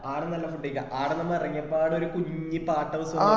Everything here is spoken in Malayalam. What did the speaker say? ആഡ്‌ന്നല്ല food കഴിക്ക ആടുന്നു 'അമ്മ ഇറങ്യപ്പാടു ഒരു കുഞ്ഞി പാട്ട bus വന്നുല്ലേ